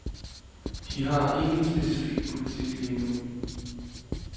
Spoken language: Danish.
De har ingen specifik politik lige nu.